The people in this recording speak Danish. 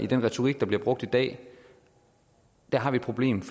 den retorik der bliver brugt i dag har et problem